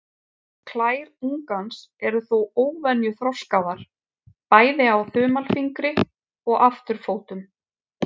Klær ungans eru þó óvenju þroskaðar, bæði á þumalfingri og afturfótum.